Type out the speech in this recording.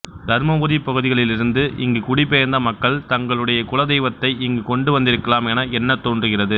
தர்மபுரி பகுதிகளிலிருந்து இங்கு குடிபெயர்ந்த மக்கள் தங்களுடைய குலதெய்வத்தை இங்கு கொண்டு வந்திருக்கலாம் என எண்ண தோன்றுகிறது